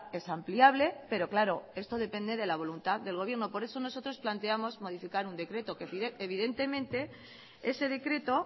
es ampliable pero claro esto depende de la voluntad del gobierno por eso nosotros planteamos modificar un decreto que evidentemente ese decreto